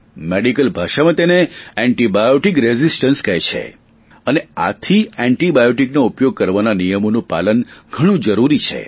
medical ભાષામાં તેને antibiotic resistance કહે છે અને આથી એન્ટિબાયોટિકનો ઉપયોગ કરવાના નિયમોનું પાલન ઘણુ જરૂરી છે